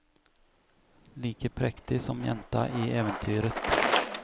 Like prektig som jenta i eventyret.